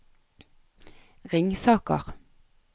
Ringsaker